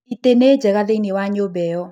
Ĩtĩ nĩ njega thĩiniĩ wa nyũmba ĩyo.